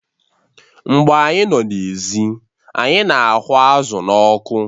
Mgbe anyị nọ n'èzí anyị na-aghu azụ̀ n'ọkụ